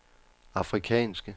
afrikanske